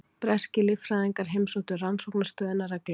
Breskir líffræðingar heimsóttu rannsóknarstöðina reglulega.